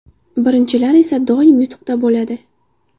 Birinchilar esa doim yutuqda bo‘ladi!